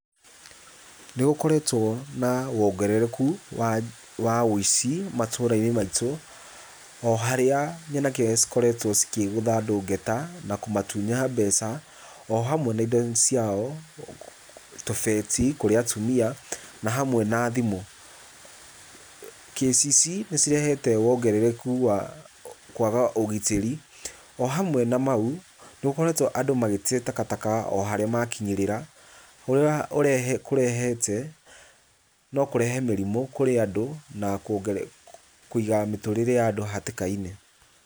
Nĩgũkoretwo na wongerereku wa ũici matũra-inĩ maitũ, o harĩa nyanake cikoretwo cikĩgũtha andũ ngeta, na kũmatunya mbeca o hamwe na indo ciao, tũbeti kũrĩ atumia, na hamwe na thimũ. Kĩci ici nĩcirehete wongerereku wa kwaga ũgitĩri o hamwe na mau nĩgũkoretwo andũ magĩte takataka o harĩa makinyĩrĩra, ũrĩa kũrehete, no kũrehe mĩrimũ kũrĩ andũ na kũiga mĩtũrĩre ya andũ hatĩka-inĩ.